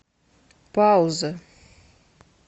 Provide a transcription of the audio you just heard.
пауза